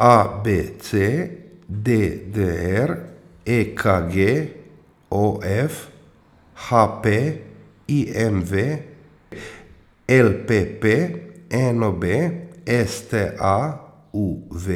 A B C; D D R; E K G; O F; H P; I M V; L P P; N O B; S T A; U V;